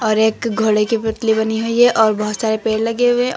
और एक घोड़े के पुतली बनी है और बहुत सारे पेड़ लगे हुए हैं और--